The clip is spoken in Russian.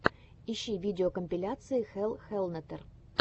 ищи видеокомпиляции хелл хеллнетер